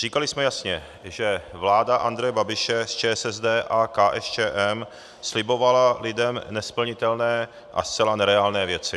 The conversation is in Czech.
Říkali jsme jasně, že vláda Andreje Babiše s ČSSD a KSČM slibovala lidem nesplnitelné a zcela nereálné věci.